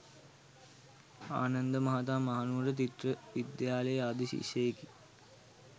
ආනන්ද මහතා මහනුවර ත්‍රිත්ව විද්‍යාලයේ ආදි ශිෂ්‍යයෙකි.